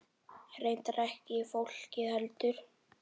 Reyndar ekki fólkið heldur.